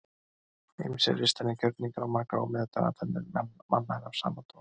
ýmsir listrænir gjörningar og margar ómeðvitaðar athafnir manna eru af sama toga